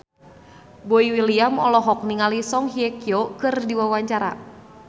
Boy William olohok ningali Song Hye Kyo keur diwawancara